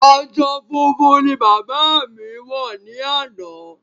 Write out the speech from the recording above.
Aṣọ funfun ni bàbá mi wọ ni ana